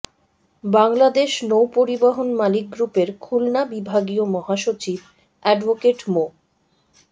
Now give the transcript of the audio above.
বাংলাদেশ নৌ পরিবহন মালিক গ্রুপের খুলনা বিভাগীয় মহাসচিব অ্যাডভোকেট মো